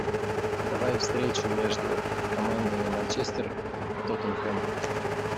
давай встречу между командами манчестер тоттенхэм